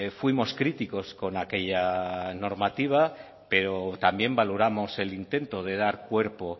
fuimos críticos con aquella normativa pero también valoramos el intento de dar cuerpo